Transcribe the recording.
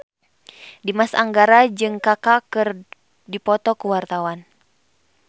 Dimas Anggara jeung Kaka keur dipoto ku wartawan